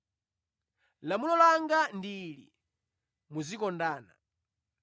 Lamulo langa ndi ili: ‘Muzikondana.’